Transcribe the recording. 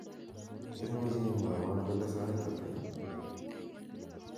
imuche imwowon kole sait ata ii